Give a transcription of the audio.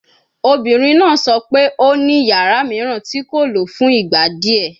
Obinrin naa sọ pe o ni yara miiran ti ko lo fun igba diẹ